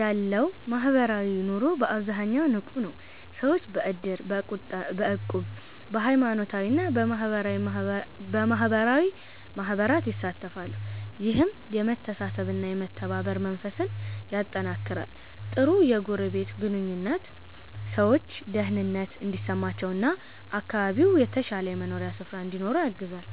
ያለው ማህበራዊ ኑሮ በአብዛኛው ንቁ ነው። ሰዎች በእድር፣ በእቁብ፣ በሃይማኖታዊ እና በማህበራዊ ማህበራት ይሳተፋሉ። ይህም የመተሳሰብ እና የመተባበር መንፈስን ያጠናክራል። ጥሩ የጎረቤት ግንኙነት ሰዎች ደህንነት እንዲሰማቸው እና አካባቢው የተሻለ የመኖሪያ ስፍራ እንዲሆን ያግዛል።